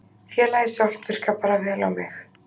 Félagið sjálft virkar bara vel á mig.